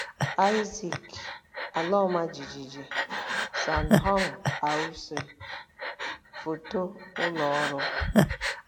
Isaac; ala ọma jijiji: San Hong R - C Foto ụlọ ọrụ.